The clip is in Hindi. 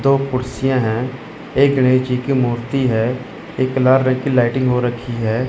दो कुर्सियां है एक गणेश जी की मूर्ति है। एक लाल रंग की लाइटिंग हो रखी है।